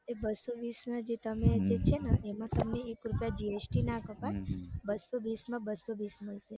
એ બસો બિસમાં જે તમે છેને એમાં તમે એક રૂપિયા gst ના કપાય બસો બિસમાં બસો બિસ મળશે.